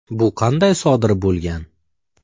Bu qanday sodir bo‘lgan?”.